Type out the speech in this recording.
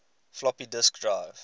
floppy disk drive